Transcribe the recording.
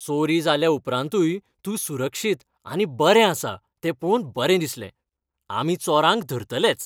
चोरी जाले उपरांतूय तूं सुरक्षीत आनी बरें आसा तें पळोवन बरें दिसलें. आमी चोरांक धरतलेच.